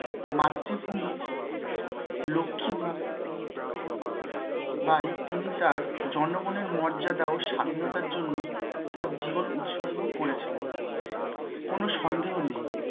মাতৃভূমির লক্ষি বা~ বাই তিনি তাঁর জনগণের মর্যাদা ও স্বাধীনতার জন্য তাঁর জীবন উৎসর্গ করেছিলেন, কোনো সন্দেহ নেই